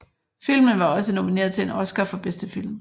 Filmen var også nomineret til en Oscar for bedste film